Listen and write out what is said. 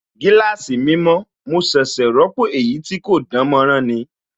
Gíláàsì mi mọ̀, mo ṣẹ̀ṣẹ̀ ròpọ̀ èyí tí kò dánmọ́nrán ni